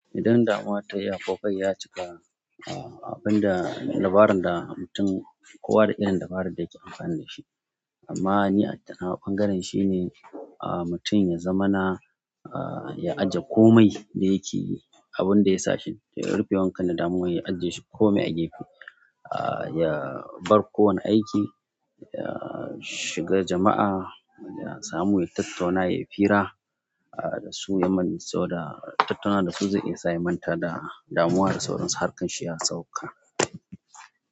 Idan damuwa tayi yawa, ko kai ya cika, abin da labarin da mutum, kowa da irin dabaran da yake amfani da shi. Amma ni a nawa ɓangaren shine am mutum ya zamana ya aje komai da yake yi, abin da ya sa shi ya rufe wankan damuwa ya ajiye shi komai a gefe ah. Ya bar kowane aiki, ya shiga jama'a, ya samu ya tattauna, yai fira ah da su, ya yi sauran tattauna da su, za iya isa ya manta da damuwa da sauransu, harkan shi ya sauka.